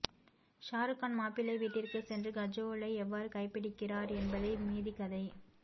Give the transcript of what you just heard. ஷாருகான் மாப்பிள்ளை வீட்டிற்கே சென்று கஜோலை எவ்வாறு கைபிடிகிறார் என்பதே மீதி கதை